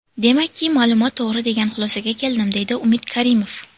Demakki, ma’lumot to‘g‘ri degan xulosaga keldim”, deydi Umid Karimov.